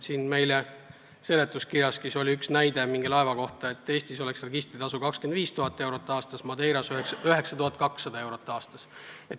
Seletuskirjaski on üks näide mingi laeva kohta, et Eestis oleks registritasu 25 000 eurot aastas, Madeiras 9200 eurot aastas.